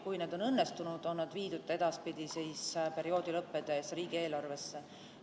Kui need on õnnestunud, on nad viidud edaspidi perioodi lõppedes riigieelarvesse.